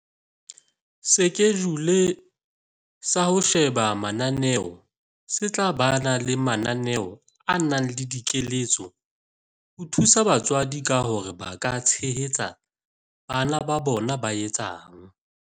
Sekejule sa ho sheba mananeo se tla ba le mananeo a nang le dikeletso ho thusa batswadi ka hore ba ka tshehetsa bana ba bona ba etsang